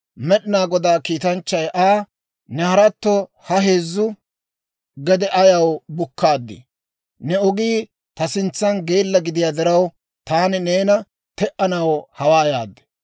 Med'inaa Godaa kiitanchchay Aa, «Ne haratto ha heezzu gede ayaw bukkaadii? Ne ogii ta sintsan geella gidiyaa diraw, taani neena te"anaw hawaa yaad.